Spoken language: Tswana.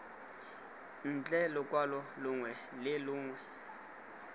ntle lokwalo longwe le longwe